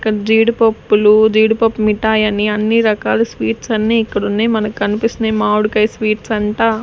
ఇక్కడ జీడిపప్పులు జీడిపప్పు మిఠాయి అని అన్ని రకాల స్వీట్స్ అన్నీ ఇక్కడ ఉన్నాయి మనకు కనిపిస్తున్నాయి మామిడికాయ స్వీట్స్ అంట.